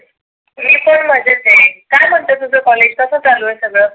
मी पण मजेत आहे. काय म्हणतं तुझ कॉलेज कसं चालू आहे सगळ?